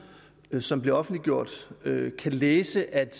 som er blevet offentliggjort kan læse at